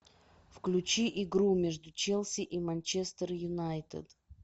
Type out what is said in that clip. включи игру между челси и манчестер юнайтед